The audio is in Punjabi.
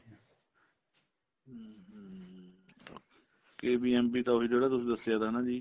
KBMB ਤਾਂ ਉਹੀ ਜਿਹੜਾ ਤੁਸੀਂ ਦੱਸਿਆ ਸੀ ਨਾ